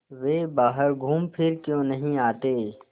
वे बाहर घूमफिर क्यों नहीं आते